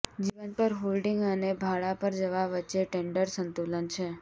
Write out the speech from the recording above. જીવન પર હોલ્ડિંગ અને ભાડા પર જવા વચ્ચે ટેન્ડર સંતુલન છે